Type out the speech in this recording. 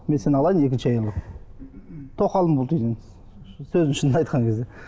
мен сені алайын екінші әйел қылып тоқалым бол дейді енді сөздің шынын айтқан кезде